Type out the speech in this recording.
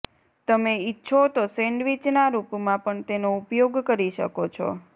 તમે ઈચ્છો તો સેન્ડવીચ ના રૂપ માં પણ તેનો ઉપયોગ કરી શકો છો